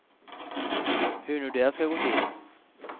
Hur nu de ska gå till.